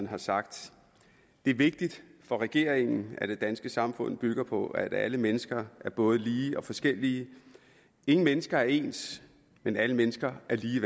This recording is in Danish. har sagt det er vigtigt for regeringen at det danske samfund bygger på at alle mennesker er både lige og forskellige ingen mennesker er ens men alle mennesker er lige